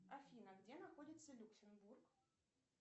афина где находится люксембург